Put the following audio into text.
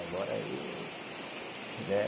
Agora aí, né?